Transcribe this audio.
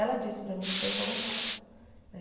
Ela disse para mim que foi involuntário né.